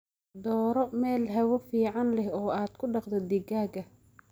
Dooro meel hawo fiican leh oo aad ku dhaqdo digaagga.